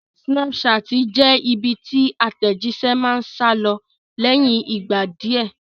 Snapchat jẹ́ ibi tí àtẹ̀jíṣé ti máa ń sálọ lẹ́yìn ìgbà díẹ̀